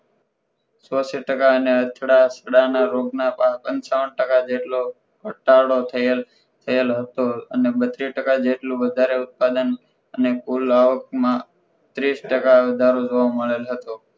ચોસઇ ટકા અને અથડાથડાના રોગના પંચાવન ટકા જેટલો ઘટાડો થયેલ હતો અને બત્રીશ ટકા જેટલું વધારે ઉત્પાદન અને કુલ આવકમા તીસ ટકા વધારો જોવા મળેલ હતો